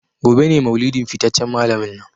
Gobe ​​ne maulidin fitaccen malamin nan.